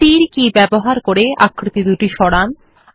তীর কি গুলি ব্যবহার করে আকৃতি দুটি সরান